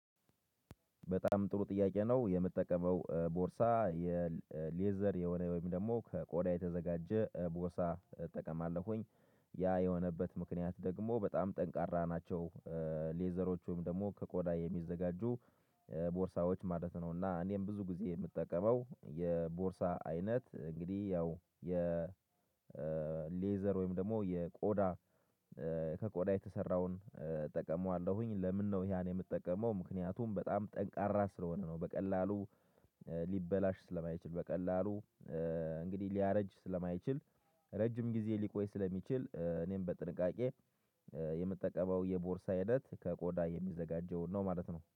በጣም ጥሩ ጥያቄ ነው የምጠቀመው ቦርሳ የሌዘር የሆነ ወይም ደግሞ ከቆዳ የተዘጋጀ ቦርሳ እጠቀማለሁኝ ያ የሆነበት ምክንያት ደግሞ በጣም ጠንካራ ናቸው ሌዘሮች ወይም ደግሞ ከቆዳ የሚዘጋጁ ቦርሳዎች ማለት ነው። እና እኔም ብዙ ጊዜ የምጠቀመው የቦርሳ አይነት እንግዲህ ያው የ ሌዘር ወይም ደግሞ የቆዳ ከቆዳ የተሰራውን እጠቀመዋለሁኝ፤? ለምነው ያን የምትጠቀመው ምክንያቱም በጣም ጠንካራ ስለሆነ ነው። በቀላሉ ሊበላሽ ስለማይችል በቀላሉ እንግዲህ ሊያረጅ ስለማይችል ረጅም ጊዜ ሊቆይ ስለሚችል። እኔም በጥንቃቄ የምጠቀመው የቦርሳ አይነት ከቆዳ የሚዘጋጀውን ነው ማለት ነው